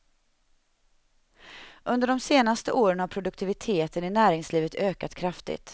Under de senaste åren har produktiviteten i näringslivet ökat kraftigt.